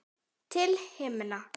Til himna!